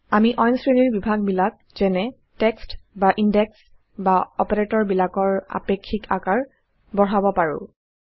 আমি অইন শ্ৰেণীৰ বিভাগ বিলাক যেনে টেক্সট বা ইন্ডেক্স বা অপাৰেটৰবিলাকৰ আপেক্ষিক আকাৰ বঢ়াব পাৰো